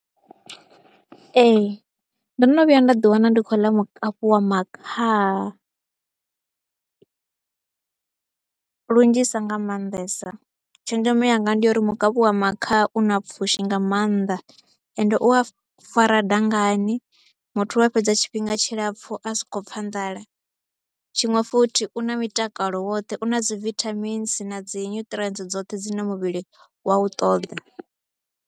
Ee ndo no vhuya nda ḓiwana ndi khou ḽa mukapu wa makhaha lunzhisa nga maanḓesa, tshenzhemo yanga ndi ya uri mukapu wa makhaha u na pfhushi nga maanḓa. Ende u a fara dangani, muthu wa fhedza tshifhinga tshilapfhu a sa khou pfha nḓala. Tshiṅwe futhi, u na mitakalo woṱhe u na dzi vithamini na dzi nuṱirientsi dzoṱhe dzine muvhili wa u ṱoḓa.